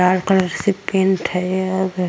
लाल colour से paint है यह आगे|